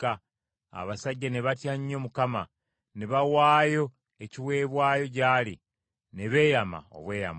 Abasajja ne batya nnyo Mukama , ne bawaayo ekiweebwayo gy’ali ne beeyama obweyamo.